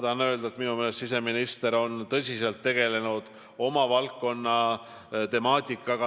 Minu meelest on siseminister oma valdkonna temaatikaga tõsiselt tegelenud.